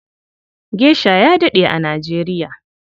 Gesha ya daɗe a Nijeriya.